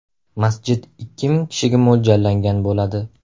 Masjid ikki ming kishiga mo‘ljallangan bo‘ladi.